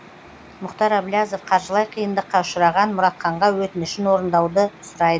мұхтар әблязов қаржылай қиындыққа ұшыраған мұратханға өтінішін орындауды сұрайды